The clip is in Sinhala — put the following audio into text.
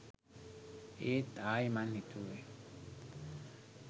ඒත් ආයෙ මං හිතුවා .